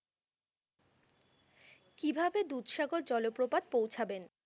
কিভাবে দুধসাগর জলপ্রপাত পৌঁছাবেন?